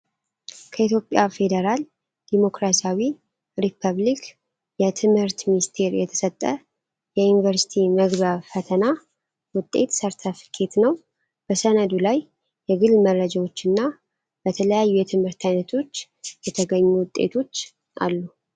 ከኢትዮጵያ ፌዴራል ዲሞክራሲያዊ ሪፐብሊክ የትምህርት ሚኒስቴር የተሰጠ የዩኒቨርሲቲ መግቢያ ፈተና ውጤት ሰርተፍኬት ነው። በሰነዱ ላይ የግል መረጃዎች እና በተለያዩ የትምህርት አይነቶች የተገኙ ውጤቶች አሉ።